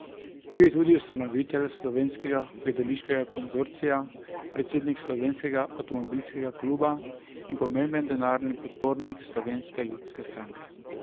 Bil je tudi ustanovitelj Slovenskega gledališkega konzorcija, predsednik slovenskega Avtomobilskega kluba in pomemben denarni podpornik Slovenske ljudske stranke.